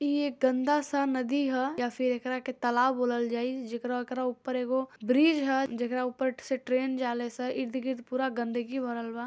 इ गन्दा सा नदी ह फिर एकरा के तालाब बोलल जाइ जिकरा के ऊपर ब्रिज ह जिकरा ऊपर ट्रैन जा ले सा ईद गीध पूरा गन्दगी भरलबा |